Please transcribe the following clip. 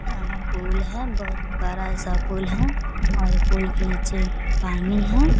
यहाँ पूल है बहुत बड़ा सा पूल है और पूल के नीचे पानी है |